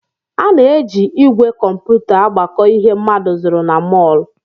A na-eji ígwè kọmputa agbakọ ihe mmadụ zụrụ na mọl